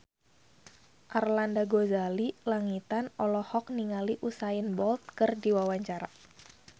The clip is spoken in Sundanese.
Arlanda Ghazali Langitan olohok ningali Usain Bolt keur diwawancara